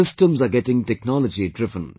Systems are getting technology driven